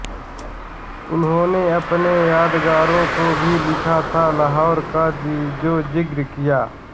उन्होंने अपने यादगारों को भी लिखा था लाहौर का जो ज़िक्र किया